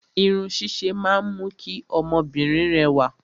Irun ṣíṣe máa ń mú kí obìnrin rẹwà.